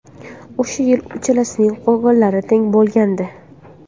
O‘sha yili uchalasining gollari teng bo‘lgandi.